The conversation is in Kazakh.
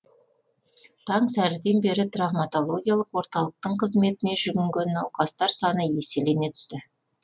таң сәріден бері травматологиялық орталықтың қызметіне жүгінген науқастар саны еселене түсті